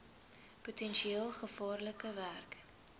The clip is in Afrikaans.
potensieel gevaarlike werk